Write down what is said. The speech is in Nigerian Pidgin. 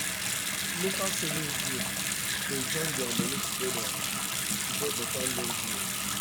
local savings groups dey join their moni together to get better loan deals.